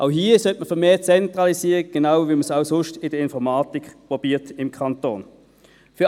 Auch hier sollte man vermehrt zentralisieren, genau wie man es auch sonst in der Informatik im Kanton probiert.